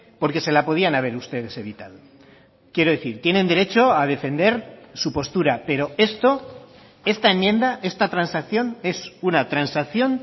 porque se la podían haber ustedes evitado quiero decir tienen derecho a defender su postura pero esto esta enmienda esta transacción es una transacción